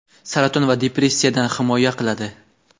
saraton va depressiyadan himoya qiladi.